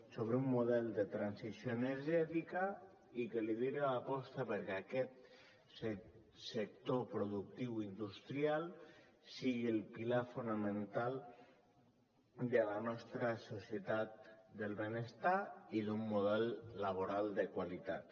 sobre un model de transició energètica i que lideri l’aposta perquè aquest sector productiu industrial sigui el pilar fonamental de la nostra societat del benestar i d’un model laboral de qualitat